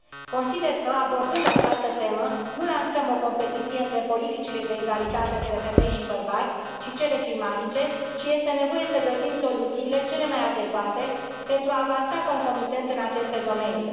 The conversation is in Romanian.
Consider că, abordând această temă, nu lansăm o competiție între politicile de egalitate între femei și bărbați și cele climatice, ci este nevoie să găsim soluțiile cele mai adecvate pentru a avansa concomitent în aceste domenii.